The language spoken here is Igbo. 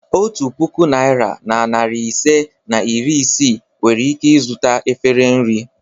Otu puku naịra na narị ise na iri isii nwere ike zụta efere nri.